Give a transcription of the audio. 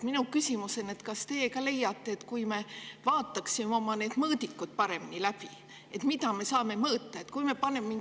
Minu küsimus on, kas teie ka leiate, et kui me vaataksime oma mõõdikud üle ja teeksime need paremaks, mida me saame mõõta,.